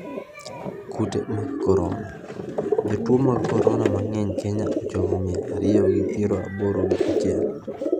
Kute mag korona: jotuo mag korona mang'eny Kenya ochopo mia ariyo gi piero aboro gi a chiel.